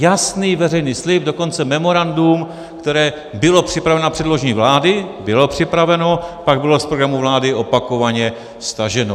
Jasný veřejný slib, dokonce memorandum, které bylo připraveno na předložení vládě, bylo připraveno, pak bylo z programu vlády opakovaně staženo.